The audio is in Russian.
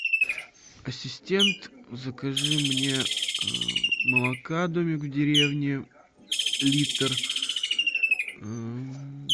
ассистент закажи мне молока домик в деревне литр